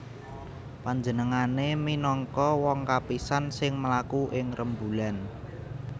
Panjenengané minangka wong kapisan sing mlaku ing rembulan